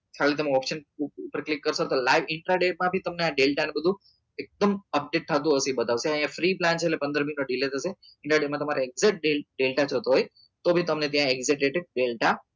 ખાલી તમે option પર click કરશો તો live માં પણ તમને આ ને બધું એકદમ update થતું બતાવશે અહિયાં free plan છે એટલે પંદર day નું હશે પંદર day માં તમને adjust day હોય તો ત્યાં બી તમને data